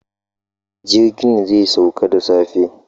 Jirgin zai sauka da safe.